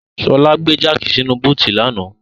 Ṣọlá gbé jáàkì sínu búùtù lánàá.